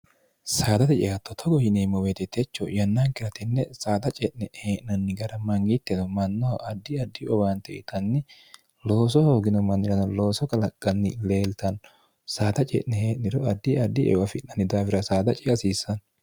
saadate ceatto togo yineemmo weetetecho yannaankiratenne saada ce'ne'e hee'nanni gara mangiitteno mannoho addi addi owaante itanni looso hoogino manniran looso qalaqqanni leeltanno saada ce'ne hee'niro addi addieu afi'nanni daawira saada ci hasiissanno